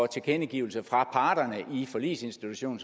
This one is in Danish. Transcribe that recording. tilkendegivelse fra parterne i forligsinstitutionen